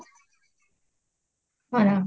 କଣ